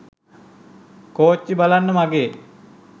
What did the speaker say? කෝච්චි බලන්න මගේ